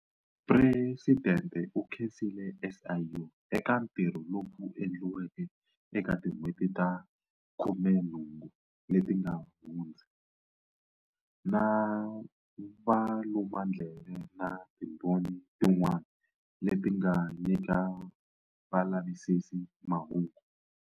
Presidente u khensile SIU eka ntirho lowu endliweke eka tin'hweti ta 18 leti nga hundza, na valumandleve na timbhoni tin'wana leti nga nyika valavisisi mahungu.